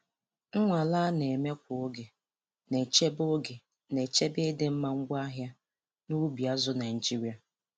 Nnwale a na-eme kwa oge na-echebe oge na-echebe ịdịmma ngwaahịa n'ubi azụ̀ Naịjiria.